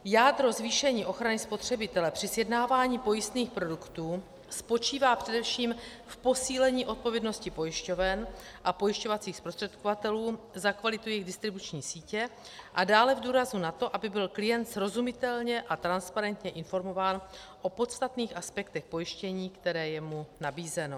Jádro zvýšení ochrany spotřebitele při sjednávání pojistných produktů spočívá především v posílení odpovědnosti pojišťoven a pojišťovacích zprostředkovatelů za kvalitu jejich distribuční sítě a dále v důrazu na to, aby byl klient srozumitelně a transparentně informován o podstatných aspektech pojištění, které je mu nabízeno.